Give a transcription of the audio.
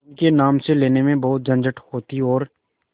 उनके नाम से लेने में बहुत झंझट होती और